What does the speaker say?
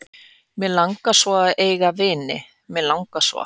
Mig langar svo að eiga vini, mig langar svo.